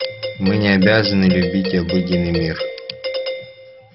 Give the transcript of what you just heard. мы не обязаны любить обыденный мир